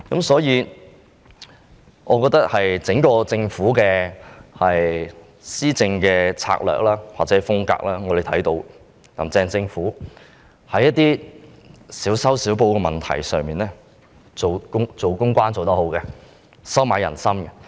所以，我們從"林鄭"政府的施政策略或風格看到，在一些少修少補的問題上，公關工作做得很好，懂得收買人心。